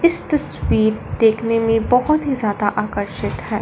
इस तस्वीर देखने में बहोत ज्यादा आकर्षित है।